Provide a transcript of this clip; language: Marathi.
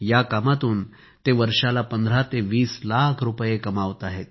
या कामातून ते वर्षाला 15 ते 20 लाख रुपये कमावत आहेत